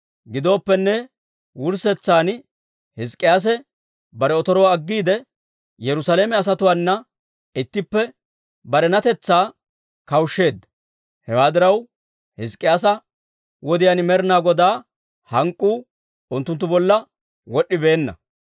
Gidooppenne, wurssetsan Hizk'k'iyaase bare otoruwaa aggiide, Yerusaalame asatuwaana ittippe barenatetsaa kawushsheedda. Hewaa diraw, Hizk'k'iyaasa wodiyaan Med'inaa Godaa hank'k'uu unttunttu bolla wod'd'ibeenna.